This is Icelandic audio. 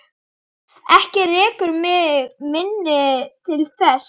Ekki rekur mig minni til þess.